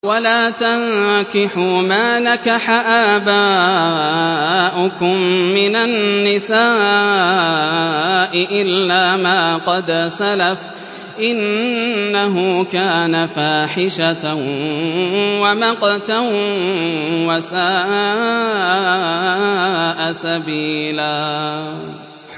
وَلَا تَنكِحُوا مَا نَكَحَ آبَاؤُكُم مِّنَ النِّسَاءِ إِلَّا مَا قَدْ سَلَفَ ۚ إِنَّهُ كَانَ فَاحِشَةً وَمَقْتًا وَسَاءَ سَبِيلًا